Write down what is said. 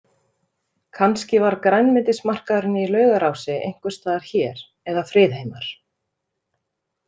Kannski var grænmetismarkaðurinn í Laugarási einhvers staðar hér eða Friðheimar.